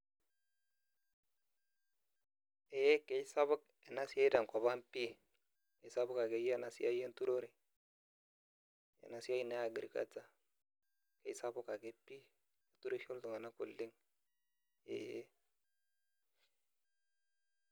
Ee kesapuk ena siai tenkop ang' pii esapuk akeyie ena siai enturore ena siai naa e agriculture esapuk ake pii keturisho iltung'anak oleng' ee.